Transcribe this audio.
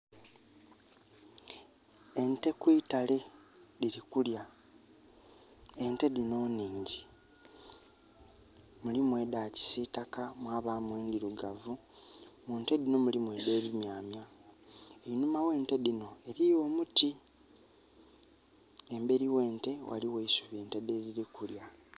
Ente kwitale dhiri kulya. Ente dhinho nhingyi. Mulimu edha kisitaka mwa bamu endirugavu. Munte dhinho mulimu edhe bi myamya. Einhuma ghe nte dhinho eriyo emiti. Emberi ghe nte ghaligho eisubi ente lyedhiri kulya.